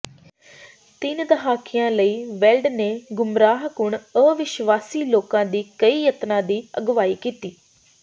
ਤਿੰਨ ਦਹਾਕਿਆਂ ਲਈ ਵੈਲਡ ਨੇ ਗੁਮਰਾਹਕੁੰਨ ਅਵਿਸ਼ਵਾਸੀ ਲੋਕਾਂ ਦੇ ਕਈ ਯਤਨਾਂ ਦੀ ਅਗਵਾਈ ਕੀਤੀ